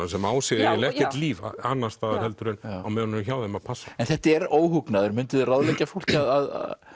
sem á sér eiginlega ekkert líf annars staðar heldur á meðan hún er hjá þeim að passa en þetta er óhugnaður mynduð þið ráðleggja fólki að